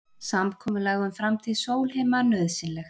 Samkomulag um framtíð Sólheima nauðsynlegt